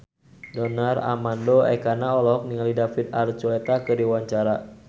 Donar Armando Ekana olohok ningali David Archuletta keur diwawancara